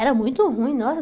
Era muito ruim, nossa.